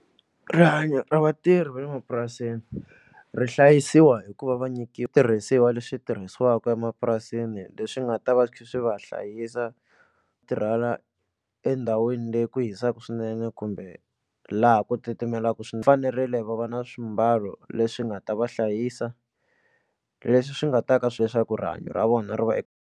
Rihanyo ra vatirhi vale mapurasini ri hlayisiwa hikuva va nyikiwa switirhisiwa leswi tirhisiwaka emapurasini leswi nga ta va swi tlhe swi va hlayisa tirhela endhawini leyi ku hisaka swinene kumbe laha ku titimelaka swi fanerile va va na swimbalo leswi nga ta va hlayisa leswi swi nga ta ka swi rihanyo ra vona ri va .